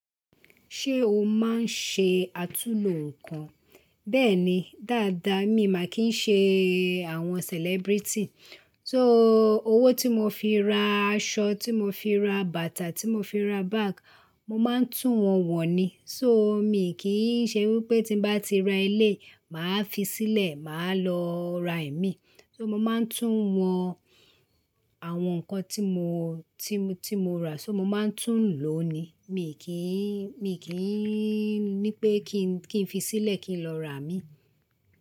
Ṣé o máa ń ṣe àtúlo nǹkan? Bẹ́ẹ̀ni, dáadáa mi màá kì ń ṣe àwọn celebrity. So, owó tí mo fi ra aṣọ, tí mo fi ra bàtà, tí mo fi ra bag, mo máa ń tún wọ̀n wọ̀ ni. So, mi kì í ṣe wípé tí n bá ti ra eléyì màá fi sílẹ̀, màá lọ ra ẹ̀mí. So mo máa ń tún wọ̀n àwọn nǹkan tí mo, tí mo, tí mo ra, so mo máa ń tún lò ó ni. Mi kì í, mi kì í ní pé kí n, kí n fi sílẹ̀ kí n lọ ra mí.